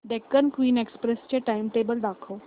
Deccan Queen Express चे timetable दाखव